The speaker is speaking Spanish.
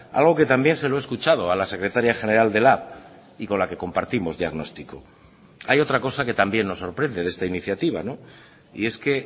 algo que también se lo he escuchado a la secretaria general de lab y con la que compartimos diagnóstico hay otra cosa que también nos sorprende de esta iniciativa y es que